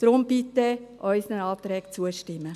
Darum bitte ich Sie, unseren Anträgen zuzustimmen.